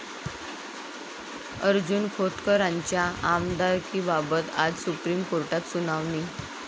अर्जुन खोतकरांच्या आमदारकीबाबत आज सुप्रीम कोर्टात सुनावणी